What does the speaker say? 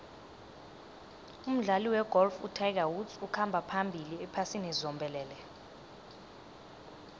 umdlali wegolf utiger woods ukhamba phambili ephasini zombelele